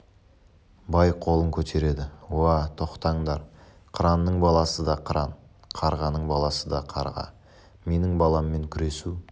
бай қолын көтереді уа тоқтаңдар қыранның баласы да қыран қарғаның баласы да қарға менің баламмен күресу